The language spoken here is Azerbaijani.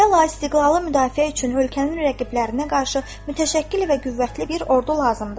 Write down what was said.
Əvvəla istiqlalı müdafiə üçün ölkənin rəqiblərinə qarşı mütəşəkkil və qüvvətli bir ordu lazımdır.